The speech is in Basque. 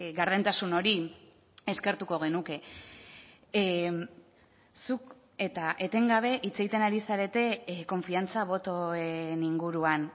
gardentasun hori eskertuko genuke zuk eta etengabe hitz egiten ari zarete konfiantza botoen inguruan